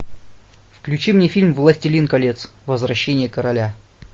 включи мне фильм властелин колец возвращение короля